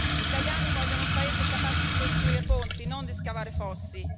Gli italiani vogliono un paese capace di costruire ponti, non di scavare fossi.